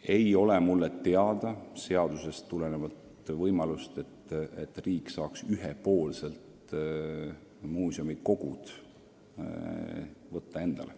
Minu teada ei anna seadus riigile ühtki võimalust ühepoolselt muuseumi kogu endale võtta.